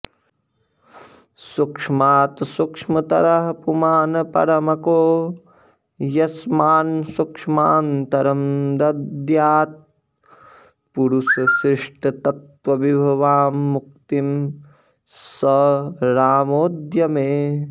सूक्ष्मात् सूक्ष्मतरः पुमान्परमको यस्मान्न सूक्ष्मान्तरं दद्यात् पूरुषशिष्टतत्त्वविभवां मुक्तिं स रामोऽद्य मे